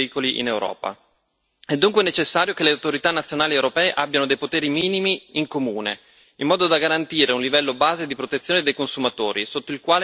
È dunque necessario che le autorità nazionali europee abbiano dei poteri minimi in comune, in modo da garantire un livello base di protezione dei consumatori, sotto il quale non è possibile scendere.